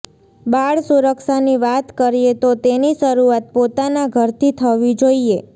બાળ સુરક્ષાની વાત કરીએ તો તેની શરૂઆત પોતાના ઘરથી થવી જોઈએ